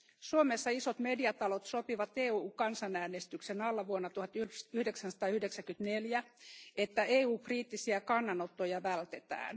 Suomessa isot mediatalot sopivat EUn kansanäänestyksen alla vuonna 1994, että EU kriittisiä kannanottoja vältetään.